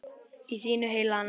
Í þínu heilaga nafni.